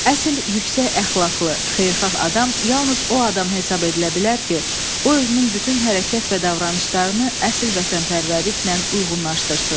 Əsl yüksək əxlaqlı, xeyirxah adam yalnız o adam hesab edilə bilər ki, o özünün bütün hərəkət və davranışlarını əsl vətənpərvərliklə uyğunlaşdırsın.